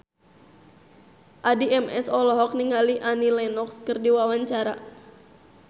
Addie MS olohok ningali Annie Lenox keur diwawancara